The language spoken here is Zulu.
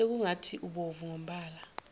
sekungathi ubovu ngombala